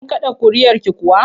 Kin kaɗa ƙuri'arki kuwa?